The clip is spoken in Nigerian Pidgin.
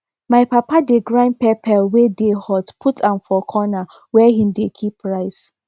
my papa dey grind pepper wey dey hot put am for corner where he dey keep rice